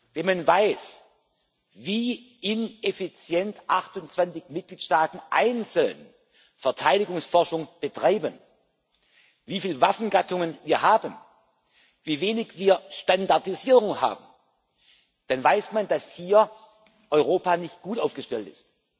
Wenn man weiß, wie ineffizient 28 Mitgliedstaaten einzeln Verteidigungsforschung betreiben, wie viele Waffengattungen wir haben, wie wenig Standardisierung wir haben, dann weiß man, dass hier Europa nicht gut aufgestellt ist.